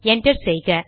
enter செய்க